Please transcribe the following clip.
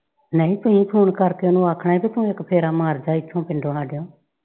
ਨਹੀਂ ਤੁਸੀਂ phone ਕਰਕੇ ਉਹਨੂੰ ਆਖਣਾ ਸੀ ਕਿ ਭਲਕ ਫੇਰਾ ਮਾਰਜਾ ਇੱਥੋਂ ਪਿੰਡੋਂ ਆਜਾ।